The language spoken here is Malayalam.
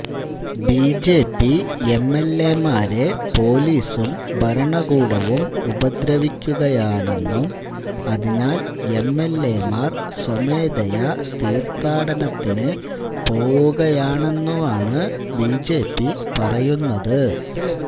ബിജെപി എംഎല്എമാരെ പൊലീസും ഭരണകൂടവും ഉപദ്രവിക്കുകയാണെന്നും അതിനാല് എംഎല്എമാര് സ്വമേധയാ തീര്ഥാടനത്തിന് പോവുകയാണെന്നുമാണ് ബിജെപി പറയുന്നത്